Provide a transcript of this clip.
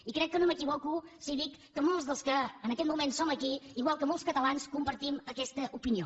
i crec que no m’equivoco si dic que molts dels que en aquest moment som aquí igual que molts catalans compartim aquesta opinió